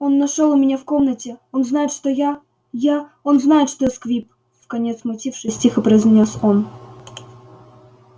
он нашёл у меня в комнате он знает что я я он знает что я сквиб вконец смутившись тихо произнёс он